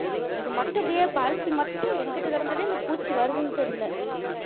இது மட்டும் அப்படியே பருத்தி மட்டும் எங்கிட்டு கிடந்துதான் இந்த பூச்சி வருதுன்னு தெரியல